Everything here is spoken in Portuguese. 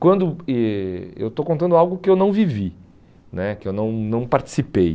quando eh eu estou contando algo que eu não vivi né, que eu não não participei.